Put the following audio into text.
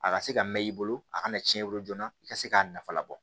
A ka se ka mɛn i bolo a kana cɛn i bolo joona i ka se k'a nafa labɔ